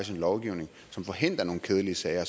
lovgivning som forhindrer nogle kedelige sager